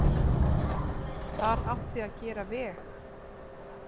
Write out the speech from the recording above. Þar átti að gera veg.